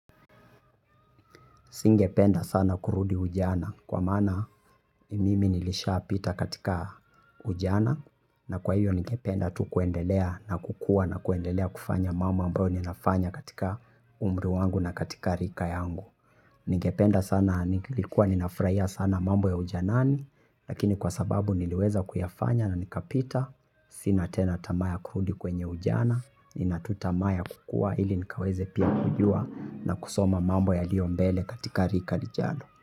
Singependa sana kurudi ujana kwa maana mimi nilisha pita katika ujana, na kwa hiyo nikependa tu kuendelea na kukua na kuendelea kufanya mambo ambayo ninafanya katika umri wangu na katika rika yangu. Ningependa sana, nilikuwa ninafurahia sana mambo ya ujanani, lakini kwa sababu niliweza kuyafanya na nikapita. Sina tena tamaa ya kurudi kwenye ujana, nina tu tamaa ya kukua ili nikaweze pia kujua na kusoma mambo yaliyo mbele katika rika lijalo.